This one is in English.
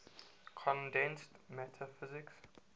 condensed matter physics